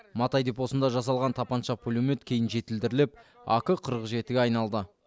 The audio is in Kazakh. матай депосында жасалған тапанша пулемет кейін жетілдіріліп ак қырық жеті ге айналды